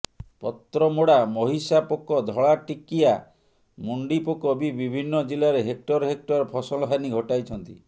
ପତ୍ରମୋଡ଼ା ମହିଷା ପୋକ ଧଳା ଟିକିଆ ମୁଣ୍ଡିପୋକ ବି ବିଭିନ୍ନ ଜିଲ୍ଲାରେ ହେକ୍ଟର ହେକ୍ଟର ଫସଲହାନି ଘଟାଇଛନ୍ତି